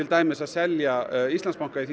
dæmis að selja Íslandsbanka í því